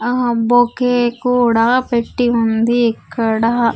ఆ బొకే కూడా పెట్టి ఉంది ఇక్కడ.